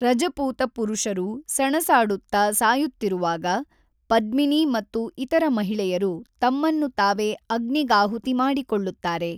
ರಜಪೂತ ಪುರುಷರು ಸೆನಸಾಡುತ್ತ ಸಾಯುತ್ತಿರುವಾಗ, ಪದ್ಮಿನಿ ಮತ್ತು ಇತರ ಮಹಿಳೆಯರು ತಮ್ಮನ್ನು ತಾವೇ ಅಗ್ನಿಗಾಹುತಿ ಮಾಡಿಕೊಳ್ಳುತ್ತಾರೆ.